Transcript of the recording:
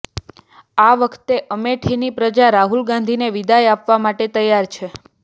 આ વખતે અમેઠીની પ્રજા રાહુલ ગાંધીને વિદાય આપવા માટે તૈયાર છે